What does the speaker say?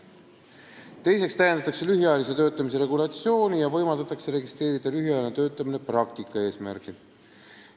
Teiseks täiendatakse lühiajalise töötamise regulatsiooni ja võimaldatakse registreerida lühiajaline töötamine praktika eesmärgil.